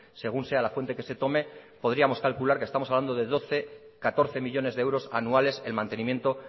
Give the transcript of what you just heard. según sea la fuente que se tome podríamos calcular que estamos hablando de catorce millónes de euros anuales en mantenimiento